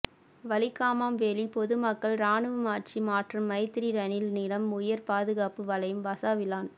வலிகாமம் வேலி பொதுமக்கள் இராணுவம் ஆட்சி மாற்றம் மைத்திரி ரணில் நிலம் உயர் பாதுகாப்பு வலயம் வசாவிளான்